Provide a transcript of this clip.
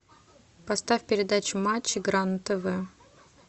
поставь передачу матч игра на тв